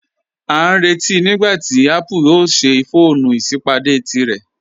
A n rẹ̀tí nígbàtí Apple o ṣè fọọ̀nù isípádé tírẹ̀.